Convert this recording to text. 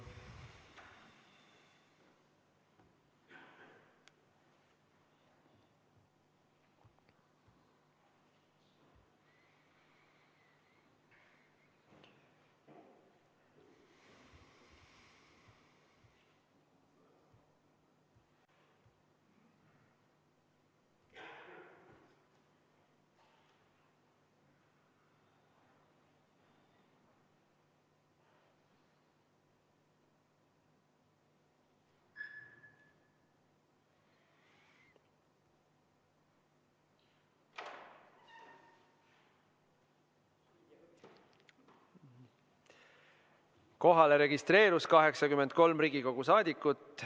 Kohalolijaks registreerus 83 Riigikogu liiget.